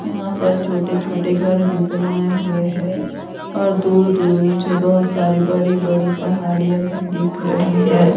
यहां पर छोटे छोटे घर भी बनाए हुए हैं। और दूर दूर मुझे बहोत सारी बड़ी बड़ी पहाड़ियां भी दिख रही है।